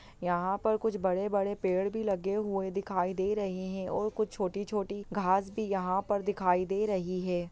यहाँ पर कुछ बड़े बड़े पेड़ भी लगे हुए दिखाई दे रहे है और कुछ छोटी छोटी घास भी यहाँ पर दिखाई दे रही है।